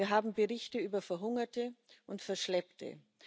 Wir haben Berichte über Verhungerte und Verschleppte.